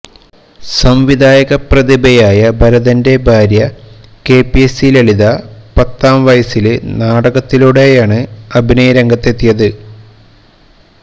സംവിധായക പ്രതിഭയായ ഭരതന്റെ ഭാര്യ K P A C Lalitha പത്താം വയസ്സില് നാടകത്തിലൂടെയാണ് അഭിനയരംഗത്തെത്തിയത്